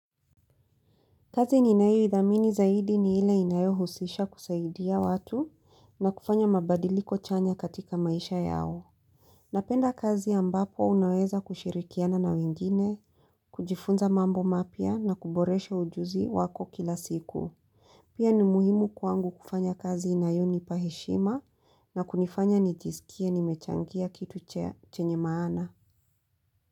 Kazi ninao idhamini zaidi ni ile inayo husisha kusaidia watu na kufanya mabadiliko chanya katika maisha yao. Napenda kazi ambapo unaweza kushirikiana na wengine, kujifunza mambo mapya na kuboresha ujuzi wako kila siku. Pia ni muhimu kwangu kufanya kazi inayonipa heshima na kunifanya nijisikia nimechangia kitu chenye maana.